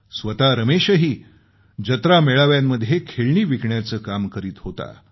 स्वतः रमेशही जत्रामेळाव्यांमध्ये खेळणी विकण्याचं काम करत होता